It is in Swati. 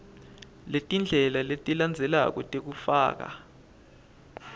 letindlela letilandzelako tekufaka